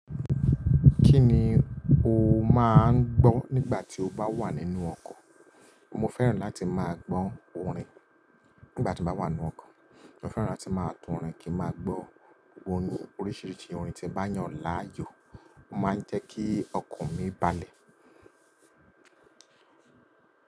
Kí ni o máa ń gbọ́ nígbà tí o bá wà nínú ọkọ̀? Mo fẹ́ràn láti máa gbọ́ orin nígbà tí mo bá wà nínú ọkọ̀. Mo fẹ́ràn láti máa tún orin kí a máa gbọ́ oríṣiríṣi orin tí ó bá yàn láàyò. Ó máa ń jẹ́ kí ọkọ̀ mi balẹ̀.